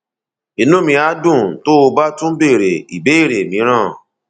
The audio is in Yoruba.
inú mi á dùn tó o bá tún béèrè ìbéèrè mìíràn